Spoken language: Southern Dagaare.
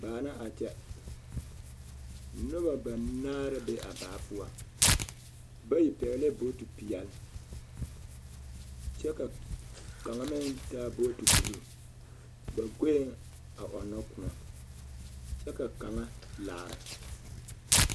Baa na a kyɛ noba banaare la be a baa poɔ bayi pɛɡelɛɛ booti peɛl kyɛ ka kaŋ meŋ taa booti buluu ba ɡoeŋ a ɔnnɔ kõɔ kyɛ ka kaŋa a laara .